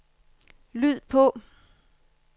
lyd på